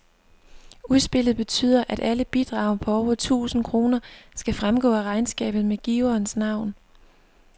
Udspillet betyder, at alle bidrag på over tusind kroner skal fremgå af regnskabet med giverens navn.